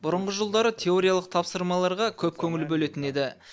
бұрынғы жылдары теориялық тапсырмаларға көп көңіл бөлетін еді